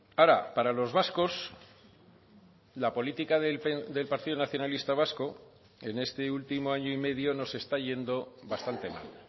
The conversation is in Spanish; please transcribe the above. ahora para los vascos la política del partido nacionalista vasco en este último año y medio nos está yendo bastante mal